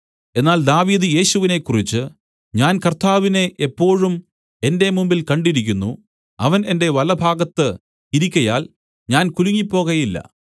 എന്നാൽ ദാവീദ് യേശുവിനെ കുറിച്ച് ഞാൻ കർത്താവിനെ എപ്പോഴും എന്റെ മുമ്പിൽ കണ്ടിരിക്കുന്നു അവൻ എന്റെ വലഭാഗത്ത് ഇരിക്കയാൽ ഞാൻ കുലുങ്ങിപ്പോകയില്ല